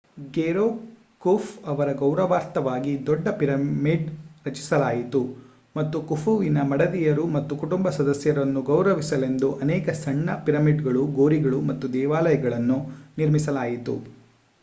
Pharaoh Khufu ಅವರ ಗೌರವಾರ್ಥವಾಗಿ ದೊಡ್ಡ ಪಿರಮಿಡ್ ರಚಿಸಲಾಯಿತು ಮತ್ತು ಖುಫುವಿನ ಮಡದಿಯರು ಮತ್ತು ಕುಟುಂಬ ಸದಸ್ಯರನ್ನು ಗೌರವಿಸಲೆಂದು ಅನೇಕ ಸಣ್ಣ ಪಿರಮಿಡ್‌ಗಳು ಗೋರಿಗಳು ಮತ್ತು ದೇವಾಲಯಗಳನ್ನು ನಿರ್ಮಿಸಲಾಯಿತು